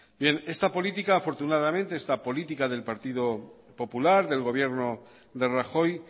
bien esta política del partido popular del gobierno de rajoy